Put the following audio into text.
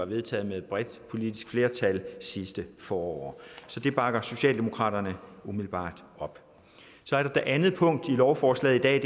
vedtaget med et bredt politisk flertal sidste forår så det bakker socialdemokratiet umiddelbart op det andet punkt i lovforslaget i dag